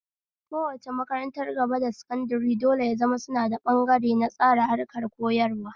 Kowace makarantar gaba da sankadare dole ya zama suna da ɓangare na tsara harkar koyarwa